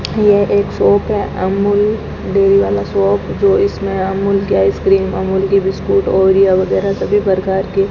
ये एक शॉप है अमूल डेयरी वाला शॉप जो इसमें अमूल के आइसक्रीम अमूल के बिस्कुट ओरियो वगैरा सभी प्रकार के --